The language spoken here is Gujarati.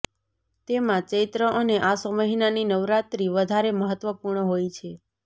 તેમાં ચૈત્ર અને આસો મહિનાની નવરાત્રિ વધારે મહત્વપૂર્ણ હોય છે